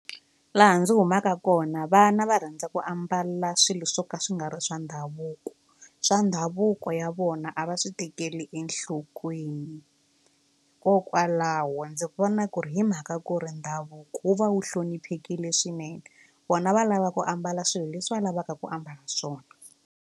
Laha ndzi humaka kona vana va rhandza ku ambala swilo swo ka swi nga ri swa ndhavuko swa ndhavuko ya vona a va swi tekeli enhlokweni hikokwalaho ndzi vona ku ri hi mhaka ku ri ndhavuko wu va wu hloniphekile swinene vona va lava ku ambala swilo leswi va lavaka ku ambala swona.